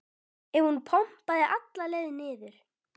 ef hún pompaði alla leið niður.